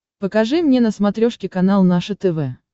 покажи мне на смотрешке канал наше тв